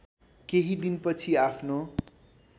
केही दिनपछि आफ्नो